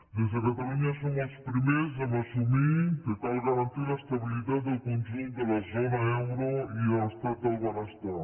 des de catalunya som els primers en assumir que cal garantir l’estabilitat del conjunt de la zona euro i l’estat del benestar